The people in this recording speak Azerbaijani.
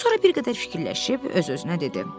Sonra bir qədər fikirləşib öz-özünə dedi.